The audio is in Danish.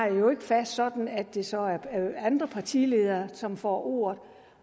jo ikke fast sådan at det så er andre partiledere som får ordet